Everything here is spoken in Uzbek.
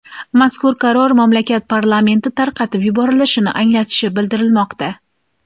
Mazkur qaror mamlakat parlamenti tarqatib yuborilishini anglatishi bildirilmoqda.